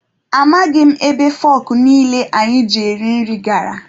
Amaghị m ebe fọkụ niile anyị ji eri nri gara.